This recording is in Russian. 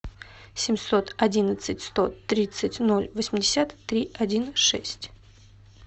семьсот одиннадцать сто тридцать ноль восемьдесят три один шесть